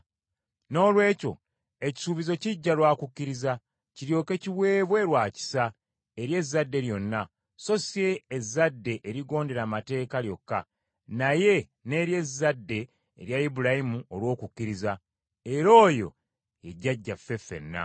Noolwekyo ekisuubizo kijja lwa kukkiriza, kiryoke kiweebwe lwa kisa, eri ezzadde lyonna, so si ezzadde erigondera amateeka lyokka naye n’eri ezzadde erya Ibulayimu olw’okukkiriza; era oyo ye jjajjaffe ffenna.